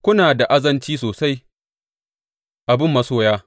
Kuna da azanci sosai a bin masoya!